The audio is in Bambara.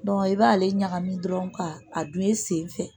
i b'ale ɲagami dɔrɔn ka a dun i sen fɛ